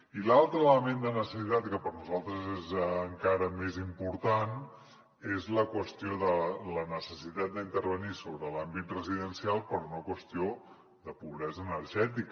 i l’altre element de necessitat que per nosaltres és encara més important és la qüestió de la necessitat d’intervenir sobre l’àmbit residencial per una qüestió de pobresa energètica